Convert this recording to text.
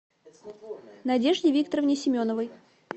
надежде викторовне семеновой